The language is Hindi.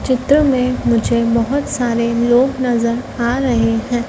चित्र में मुझे बहोत सारे लोग नजर आ रहे हैं।